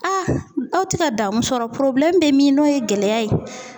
A tɛ ka damun sɔrɔ bɛ min n'o ye gɛlɛya ye.